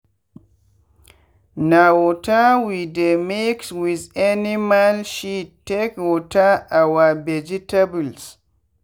na waterwe dey mix with animal shit take water our vegetables.